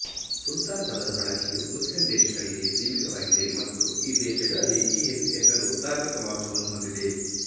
ಸುಲ್ತಾನ್ ಪದದ ಬಳಕೆಯು ಮುಸ್ಲಿಮ್ ದೇಶಗಳಿಗೆ ಸೀಮಿತವಾಗಿದೆ ಮತ್ತು ಈ ದೇಶಗಳಲ್ಲಿ ಈ ಹೆಸರು ಧಾರ್ಮಿಕ ಮಹತ್ವವನ್ನು ಹೊಂದಿದೆ